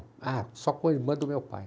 Ah, só com a irmã do meu pai.